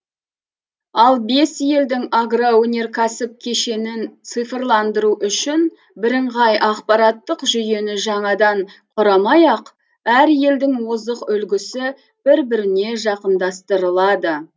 ал бес елдің агроөнеркәсіп кешенін цифрландыру үшін бірыңғай ақпараттық жүйені жаңадан құрмай ақ әр елдің озық үлгісі бір біріне жақындастырылады